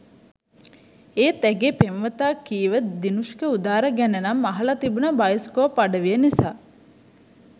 ඒත් ඇගේ පෙම්වතා කීව දිනුෂ්ක උදාර ගැන නම් අහල තිබුනා බයිස්කෝප් අඩවිය නිසා..